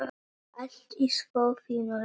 Allt í svo fínu lagi.